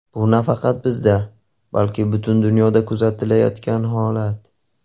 Bu nafaqat bizda, balki butun dunyoda kuzatilayotgan holat.